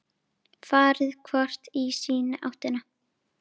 Farið hvort í sína áttina.